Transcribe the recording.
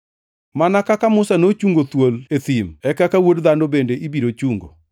Mana kaka Musa nochungo thuol e thim, e kaka Wuod Dhano bende ibiro chungo,